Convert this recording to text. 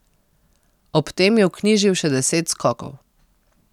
Ob tem je vknjižil še deset skokov.